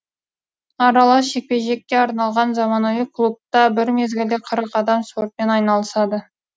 аралас жекпе жекке арналған заманауи клубта бір мезгілде қырық адам спортпен айналысады